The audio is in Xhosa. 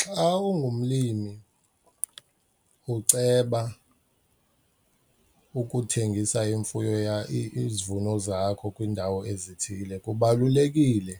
Xa ungumlimi uceba ukuthengisa imfuyo , izivuno zakho kwiindawo ezithile kubalulekile